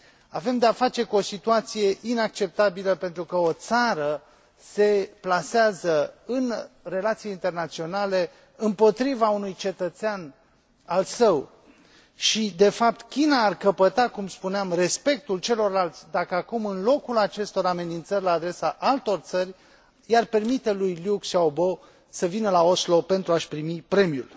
Avem de a face cu o situație inacceptabilă pentru că o țară se plasează în relații internaționale împotriva unui cetățean al său și, de fapt, China ar căpăta, cum spuneam, respectul celorlalți dacă acum în locul acestor amenințări la adresa altor țări i ar permite lui Liu Xiaobo să vină la Oslo pentru a și primi premiul.